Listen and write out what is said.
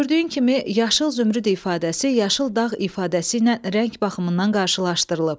Gördüyün kimi, yaşıl zümrüd ifadəsi yaşıl dağ ifadəsi ilə rəng baxımından qarşılaşdırılıb.